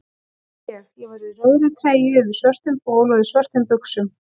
Og ég: ég var í rauðri treyju yfir svörtum bol og í svörtum buxum.